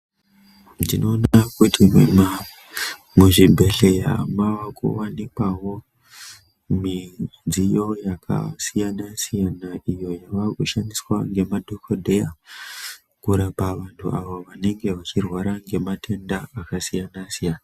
Ndinoona kuti muma muzvibhedhleya mavakuvanikwavo midziyo yakasiyana-siyana iyo yava kushandiswa ngemadhogodheya. Kurapa vantu ava vanenge vachirwara ngematenda akasiyana-siyana.